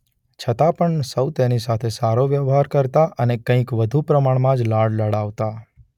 છતાં પણ સૌ તેની સાથે સારો વ્યહવાર કરતા અને કંઈક વધુ પ્રમાણમાં જ લાડ લડાવતા.